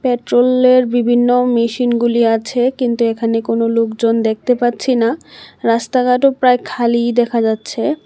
পেট্রোলের বিভিন্ন মেশিনগুলি আছে কিন্তু এখানে কোনো লোকজন দেখতে পাচ্ছি না রাস্তাঘাটও প্রায় খালিই দেখা যাচ্ছে।